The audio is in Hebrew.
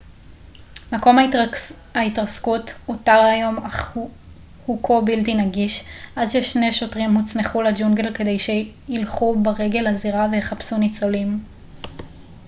מקום ההתרסקות אותר היום אך הוא כה בלתי נגיש עד ששני שוטרים הוצנחו לג'ונגל כדי שילכו ברגל לזירה ויחפשו ניצולים